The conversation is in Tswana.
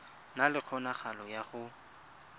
na le kgonagalo ya go